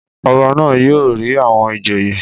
Ọba náà yóò rí àwọn ìjòyè.